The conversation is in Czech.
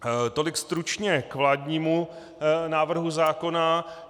Tolik stručně k vládnímu návrhu zákona.